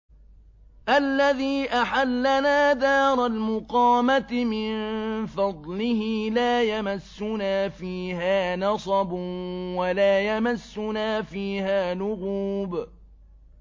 الَّذِي أَحَلَّنَا دَارَ الْمُقَامَةِ مِن فَضْلِهِ لَا يَمَسُّنَا فِيهَا نَصَبٌ وَلَا يَمَسُّنَا فِيهَا لُغُوبٌ